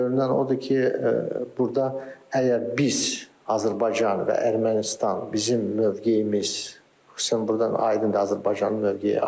Görünən odur ki, burda əgər biz Azərbaycan və Ermənistan, bizim mövqeyimiz, xüsusən burdan aydındır Azərbaycanın mövqeyi aydındır.